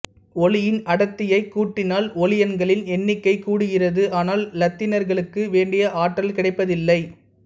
ஒளியின் அடர்த்தியைக் கூட்டினால் ஒளியன்களின் எண்ணிக்கை கூடுகிறது ஆனால் இலத்திரன்களுக்கு வேண்டிய ஆற்றல் கிடைப்பதில்லை